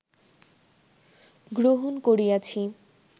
গ্রহণ করিয়াছি